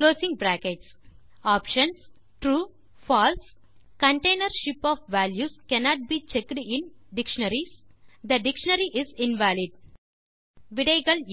false bin container ship of values cannot be checked in dictionaries the dictionary is invalid